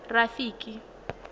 rafiki